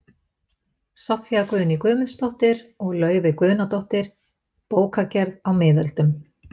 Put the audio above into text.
Soffía Guðný Guðmundsdóttir og Laufey Guðnadóttir, Bókagerð á miðöldum